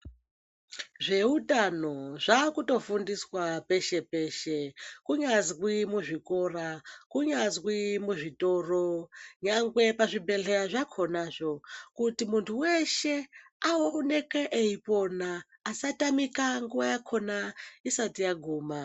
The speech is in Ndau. Zveutano zvakutofundiswa peshe peshe kunyazwi muzvikora kunyazwi muzvitoro nyangwe pazvibhedhleya zvakonazvo kuti muntu weshe aoneke eipona asatamika nguwa yakona isati yaguma.